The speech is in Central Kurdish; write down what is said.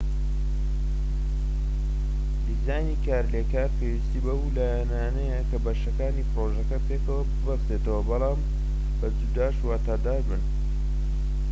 دیزانی کارلێکار پێویستی بەو لایەنانەیە کە بەشەکانی پڕۆژەکە پێکەوە ببەستنەوە بەڵام بە جوداش واتادار بن